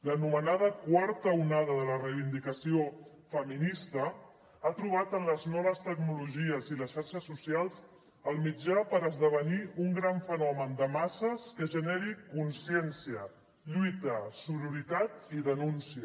l’anomenada quarta onada de la reivindicació feminista ha trobat en les noves tecnologies i les xarxes socials el mitjà per esdevenir un gran fenomen de masses que generi consciència lluita sororitat i denúncia